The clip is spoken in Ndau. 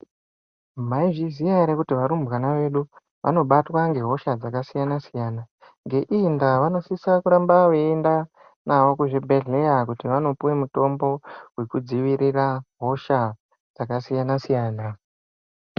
Maizviziya ere kuti varumbwana vedu vanobatwa ngehosha dzakasiyana siyana ngeiyi ndaa vanosisa kuramba veienda navo kuzvibhedhlera kuti vandopuwa mitombo yekudzivirira hosha dzakasiyana siyana.